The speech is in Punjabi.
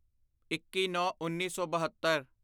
ਇੱਕੀਨੌਂਉੱਨੀ ਸੌ ਬਹੱਤਰ